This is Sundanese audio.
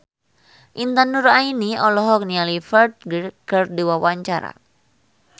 Intan Nuraini olohok ningali Ferdge keur diwawancara